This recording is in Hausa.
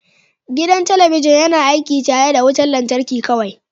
Gidan talabijin yana aiki tare da wutar lantarki kawai